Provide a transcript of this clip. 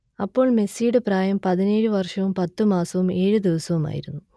അപ്പോൾ മെസ്സിയുടെ പ്രായം പതിനേഴ് വർഷവും പത്ത് മാസവും ഏഴ് ദിവസവുമായിരുന്നു